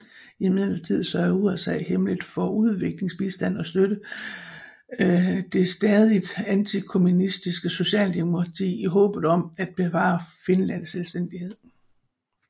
Imidlertid sørgede USA hemmeligt for udviklingsbistand og støttede det stadigt antikommunistiske Socialdemokrati i håbet om at bevare Finlands selvstændighed